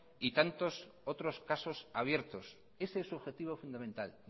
y tantos otros casos abiertos ese es su objetivo fundamental